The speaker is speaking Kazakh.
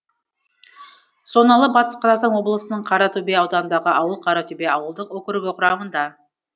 соналы батыс қазақстан облысының қаратөбе ауданындағы ауыл қаратөбе ауылдық округі құрамында